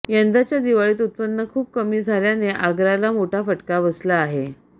यंदाच्या दिवाळीत उत्पन्न खूपच कमी झाल्याने आगाराला मोठा फटका बसला आहे